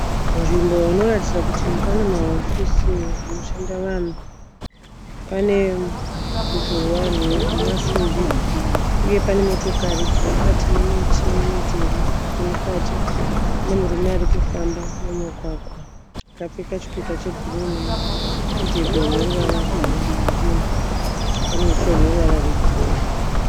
Nzvimbo inoratidza kuti pane mahofisi anoshanda vanhu. Pane ruzhowa rwemasimbi uye pane motokari dziri mukati nemiti nemidhuri iri mukati. Pane murume arikufamba mumugwagwa akapfeka chipika chebhuruu nemudhebhe une ruvara rwekirimu, pane huswa hune ruvara rwegirini.